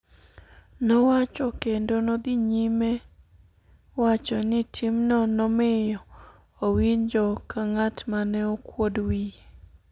nowacho kendo nodhi nyime wacho ni tim no nomiyo owinjo ka ng'at mane okwod wiye